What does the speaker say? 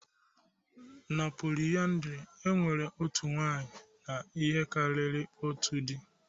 Na polyandry, e nwere otu nwunye na ihe karịrị otu di